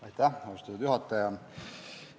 Aitäh, austatud juhataja!